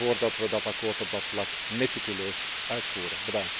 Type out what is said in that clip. Ik stel voor dat we dit akkoord op dat vlak meticuleus uitvoeren.